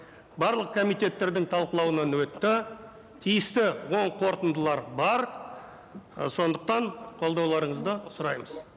барлық комитеттердің талқылауынан өтті тиісті оң қорытындылар бар і сондықтан қолдауларыңызды сұраймыз